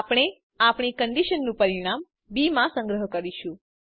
આપણે આપણી કન્ડીશનનું પરિણામ બી માં સંગ્રહ કરીશું